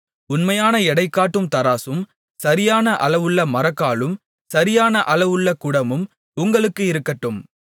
உண்மையான எடை காட்டும் தராசும் சரியான அளவுள்ள மரக்காலும் சரியான அளவுள்ள குடமும் உங்களுக்கு இருக்கட்டும்